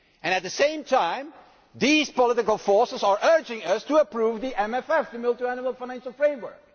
At the same time, these political forces are urging us to approve the MFF the Multiannual Financial Framework.